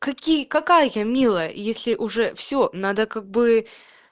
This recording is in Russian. какие какая я милая если уже всё надо как бы